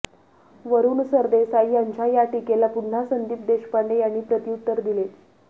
वरुण सरदेसाई यांच्या या टीकेला पुन्हा संदीप देशपांडे यांनी प्रत्युत्तर दिले